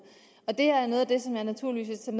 det her er noget af det som jeg naturligvis tager